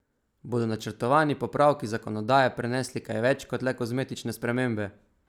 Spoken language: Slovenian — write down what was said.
Bodo načrtovani popravki zakonodaje prinesli kaj več kot le kozmetične spremembe?